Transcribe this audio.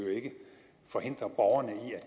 forhindre borgerne i at